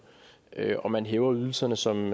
og man hæver ydelserne som